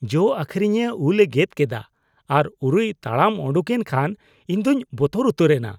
ᱡᱚ ᱟᱹᱠᱷᱨᱤᱧᱤᱭᱟᱹ ᱩᱞᱼᱮ ᱜᱮᱫ ᱠᱮᱫᱟ ᱟᱨ ᱩᱨᱩᱭ ᱛᱟᱲᱟᱢ ᱩᱰᱩᱠᱮᱱ ᱠᱷᱟᱱ ᱤᱧ ᱫᱩᱧ ᱵᱚᱛᱚᱨ ᱩᱛᱟᱹᱨ ᱮᱱᱟ ᱾